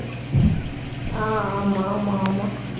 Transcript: அஹ் ஆமா, ஆமா, ஆமா